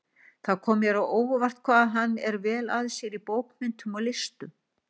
Það kom mér á óvart, hvað hann er vel að sér í bókmenntum og listum